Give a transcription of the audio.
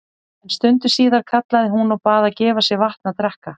En stundu síðar kallaði hún og bað gefa sér vatn að drekka.